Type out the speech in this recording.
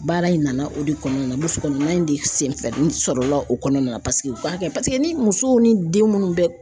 Baara in nana o de kɔnɔna na burusi kɔnɔna in de senfɛ sɔrɔla o kɔnɔna na paseke u k'a kɛ paseke ni musow ni den munnu bɛ